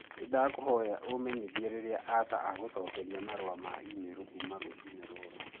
Nĩndakũhoya ũũmenyithie rĩrĩa Asha agũcokeria marũa ma e-mail kuuma rũciinĩ rũrũ.